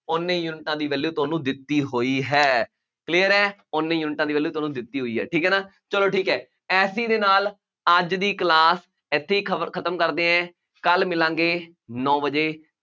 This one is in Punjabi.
ਉੱਨੇ ਯੂਨਿਟਾਂ ਦੀ value ਤੁਹਾਨੂੰ ਦਿੱਤੀ ਹੋਈ ਹੈ, clear ਹੈ, ਉੱਨੇ ਯੂਨਿਟਾਂ ਦੀ value ਤੁਹਾਨੂੰ ਦਿੱਤੀ ਹੋਈ ਹੈ, ਠੀਕ ਹੈ, ਨਾ, ਚੱਲੋ ਠੀਕ ਹੈ, ਇਸ ਚੀਜ਼ ਦੇ ਨਾਲ ਅੱਜ ਦੀ class ਇੱਥੇ ਹੀ ਖਬਰ ਖਤਮ ਕਰਦੇ ਹਾਂ, ਕੱਲ੍ਹ ਮਿਲਾਂਗੇ, ਨੌ ਵਜੇ,